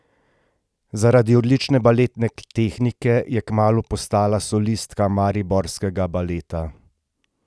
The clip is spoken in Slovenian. Zaradi odlične baletne tehnike je kmalu postala solistka mariborskega Baleta.